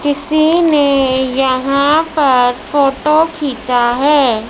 किसी ने यहा पर फोटो खीचा है।